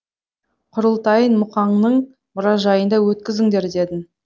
құрылтайын мұқаңның мұражайында өткізіңдер дедім